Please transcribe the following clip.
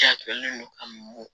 Jatelen do ka mɔ